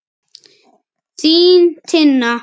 Þín Tinna.